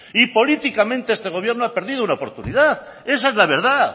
y políticamente este gobierno ha perdido una oportunidad esa es la verdad